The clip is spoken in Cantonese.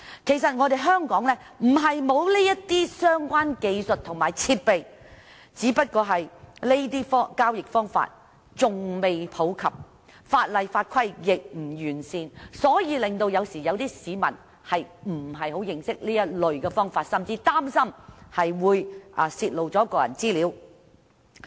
其實香港並非沒有相關技術和設備，只是這些交易方式仍未普及，法例法規亦不完善，令市民不太認識這類付款方法，甚至擔心會泄露個人資料。